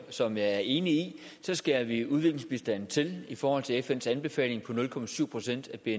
som jeg er enig i skærer vi udviklingsbistanden til i forhold til fns anbefaling på nul procent af bni